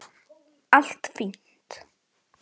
Allt fínt!